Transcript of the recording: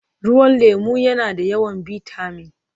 Ruwan lemu yana da yawan bitamin